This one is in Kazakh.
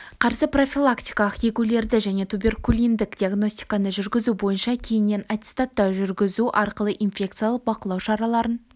қарсы профилактикалық егулерді және туберкулиндік диагностиканы жүргізу бойынша кейіннен аттестаттау жүргізу арқылы инфекциялық бақылау шараларын